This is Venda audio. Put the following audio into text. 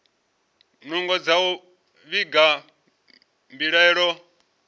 nungo dza u vhiga mbilaelo